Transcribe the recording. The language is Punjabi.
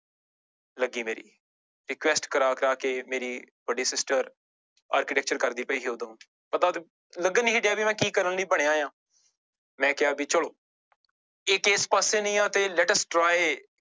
ਲੱਗੀ ਮੇਰੀ request ਕਰਾ ਕਰਾ ਕੇ ਮੇਰੀ ਵੱਡੀ sister architecture ਕਰਦੀ ਪਈ ਸੀ ਉਦੋਂ, ਪਤਾ ਤੇੇ ਲੱਗਣ ਨੀ ਸੀ ਡਿਆ ਵੀ ਮੈਂ ਕੀ ਕਰਨ ਲਈ ਬਣਿਆਂ ਆਂ ਮੈਂ ਕਿਹਾ ਵੀ ਚਲੋ ਜੇ ਇਸ ਪਾਸੇ ਨੀ ਆਂ ਤੇ let us try